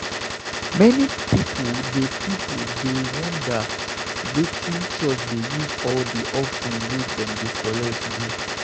Many pipo dey pipo dey wonder wetin church dey use all the offering wey dem dey collect do.